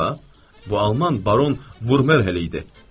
Bu alman Baron Vurmel idi.